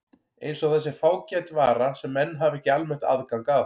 Eins og það sé fágæt vara sem menn hafi ekki almennt aðgang að.